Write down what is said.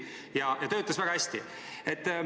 Ja see töötas väga hästi.